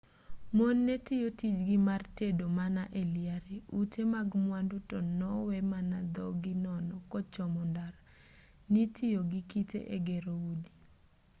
mon netiyo tijgi mar tedo mana e liare ute mag mwandu to nowe mana dhogi nono kochomo ndara nitiyo gi kite e gero udi